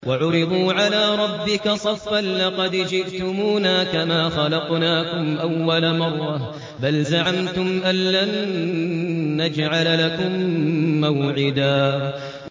وَعُرِضُوا عَلَىٰ رَبِّكَ صَفًّا لَّقَدْ جِئْتُمُونَا كَمَا خَلَقْنَاكُمْ أَوَّلَ مَرَّةٍ ۚ بَلْ زَعَمْتُمْ أَلَّن نَّجْعَلَ لَكُم مَّوْعِدًا